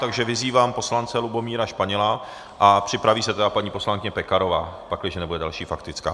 Takže vyzývám poslance Lubomíra Španěla a připraví se tedy paní poslankyně Pekarová, pakliže nebude další faktická.